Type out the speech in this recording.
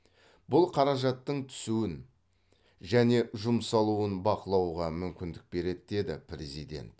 бұл қаражаттың түсуін және жұмсалуын бақылауға мүмкіндік береді деді президент